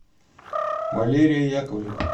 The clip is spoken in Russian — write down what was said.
валерия яковлева